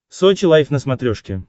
сочи лайф на смотрешке